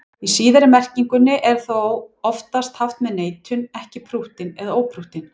Í síðari merkingunni er orðið þó oftast haft með neitun, ekki prúttinn eða óprúttinn.